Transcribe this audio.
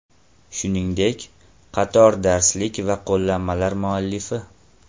Shuningdek, qator darslik va qo‘llanmalar muallifi.